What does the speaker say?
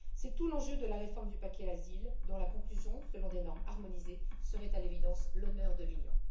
C'est tout l'enjeu de la réforme du paquet asile, dont la conclusion selon des normes harmonisées seraient, à l'évidence, tout à l'honneur de l'Union.